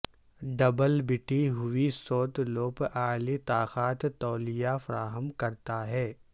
double بٹی ہوئی سوت لوپ اعلی طاقت تولیہ فراہم کرتا ہے